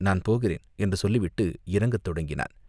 நான் போகிறேன்" என்று சொல்லிவிட்டு இறங்கத் தொடங்கினான்.